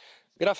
Señor